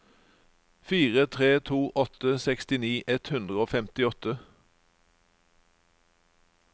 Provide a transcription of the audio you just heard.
fire tre to åtte sekstini ett hundre og femtiåtte